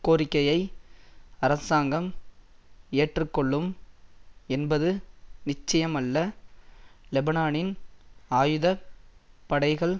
கோரிக்கையை அரசாங்கம் ஏற்றுக்கொள்ளும் என்பது நிச்சயமல்ல லெபனானின் ஆயுத படைகள்